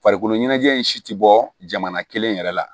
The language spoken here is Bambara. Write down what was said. Farikolo ɲɛnajɛ in si tɛ bɔ jamana kelen yɛrɛ la